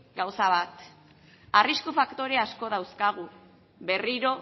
gauza bat arrisku faktore asko dauzkagu berriro